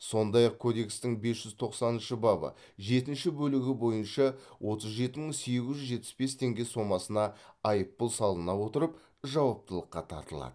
сондай ақ кодекстің бес жүз тоқсаныншы бабы жетінші бөлігі бойынша отыз жеті мың сегіз жүз жетпіс бес теңге сомасына айыппұл салына отырып жауаптылыққа тартылады